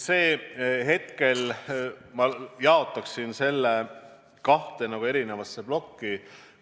Hetkel ma jaotaksin selle kahte erinevasse plokki.